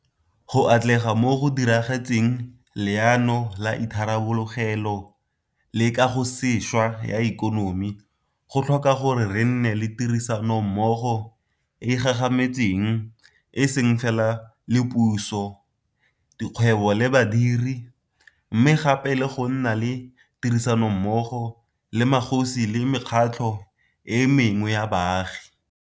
Go atlega mo go diragatseng Leano la Itharabologelo le Kagosešwa ya Ikonomi go tlhoka gore re nne le tirisa nommogo e e gagametseng e seng fela le puso, dikgwebo le badiri, mme gape le go nna le tirisanommogo le magosi le mekgatlho e mengwe ya baagi.